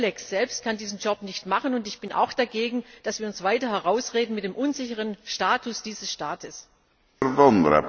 EULEX selbst kann diesen Job nicht machen. Ich bin auch dagegen, dass wir uns weiter mit dem unsicheren Status dieses Staates herausreden.